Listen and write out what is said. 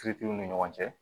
Kiritiw ni ɲɔgɔn cɛ